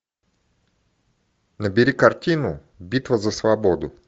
набери картину битва за свободу